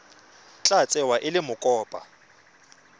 tla tsewa e le mokopa